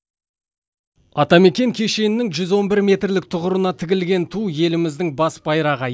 атамекен кешенінің жүз он бір метрлік тұғырына тігілген ту еліміздің бас байрағы